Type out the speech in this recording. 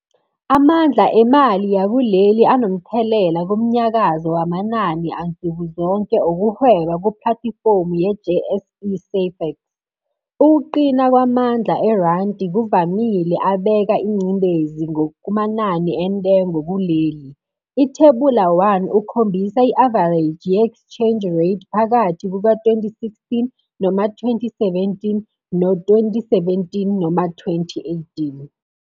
Amandla emali yakuleli anomthelela kumnyakazo wamanani ansukuzonke okuhweba kuplatifomu ye-JSE Safex. Ukuqina kwamandla erandi ngokuvamile abeka ingcindezi kumanani entengo kuleli. Ithebula 1 ukhombisa i-avareji ye-echange rate phakathi kuka-2016 noma 2017 no-2017 noma 2018.